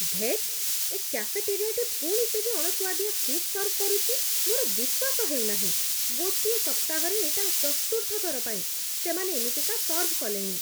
ଧେତ୍! ଏ କାଫେଟେରିଆଟି ପୁଣି ସେହି ଅଣସୁଆଦିଆ ସୁପ୍ ସର୍ଭ କରୁଛି, ମୋର ବିଶ୍ଵାସ ହେଉନାହିଁ। ଗୋଟିଏ ସପ୍ତାହରେ ଏଇଟା ଚତୁର୍ଥ ଥର ପାଇଁ ସେମାନେ ଏମିତିକା ସର୍ଭ କଲେଣି।